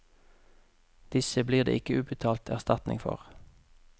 Disse blir det ikke utbetalt erstatning for.